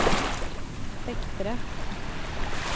vektere